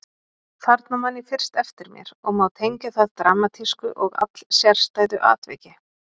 Þarna man ég fyrst eftir mér og má tengja það dramatísku og allsérstæðu atviki.